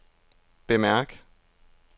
bemærk